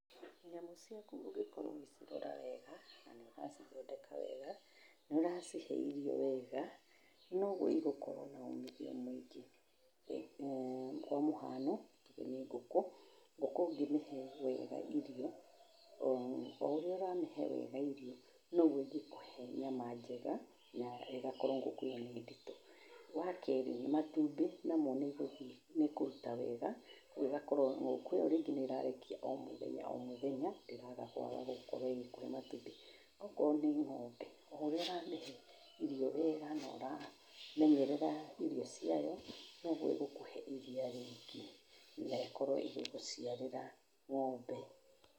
Nyamũ ciaku ũngĩkorwo ũgĩcirora wega na nĩ ũracithondeka wega, nĩ ũracihe irio wega, noguo igokorwo na umithio mũingĩ. eeh kwa mũhano tuge nĩ ngũkũ, ngũkũ ũngĩmĩhe wega irio, o ũrĩa ũramĩhe wega irio, noguo ĩngĩkũhe nyama njega na ĩgakorwo ngũkũ ĩyo nĩ nditũ. Wa kerĩ, matũmbĩ namo nĩ ĩkũruta wega, koguo ĩgakorwo ngũkũ ĩyo rĩngĩ nĩ ĩrarekia o mũthenya o mũthenya ndĩraga kwaga gũkorwo ĩgĩkũhe matumbĩ. Okorwo nĩ ng'ombe, o ũrĩa ũramĩhe irio wega na ũramenyerera irio ciayo noguo ĩgukũhe iria rĩing,ĩ na ĩkorwo ĩgĩgũciarĩra ng'ombe.